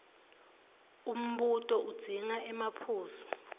umbuto udzinga emaphuzu